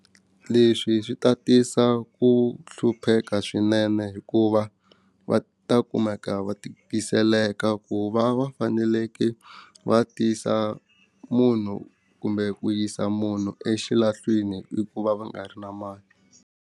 Leswi swi ta tisa ku hlupheka swinene hikuva va ta kumeka va tikiseleka ku va va faneleke va tisa munhu kumbe ku yisa munhu exilahlweni hikuva va nga ri na mali.